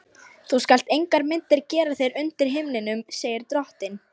Þú skalt engar myndir gera þér undir himninum, segir drottinn.